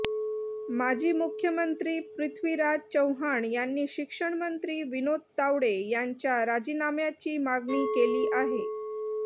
माजी मुख्यमंत्री पृथ्वीराज चव्हाण यांनी शिक्षणमंत्री विनोद तावडे यांच्या राजीनाम्याची मागणी केली आहे